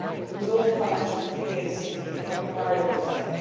It was all financial figures and economic variables then.